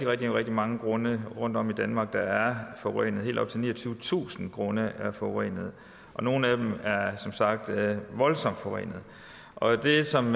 rigtig rigtig mange grunde rundtom i danmark der er forurenede helt op til niogtyvetusind grunde er forurenede nogle af dem er som sagt voldsomt forurenede og det som